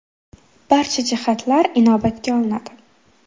Barcha jihatlar inobatga olinadi.